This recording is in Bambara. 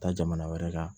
Taa jamana wɛrɛ kan